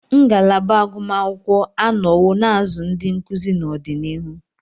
Ngalaba agụmakwụkwọ anọwo na-azụ ndị nkuzi n'ọdịnihu.